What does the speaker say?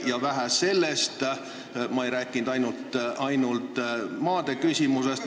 Ja vähe sellest, ma ei rääkinud ainult maade küsimusest.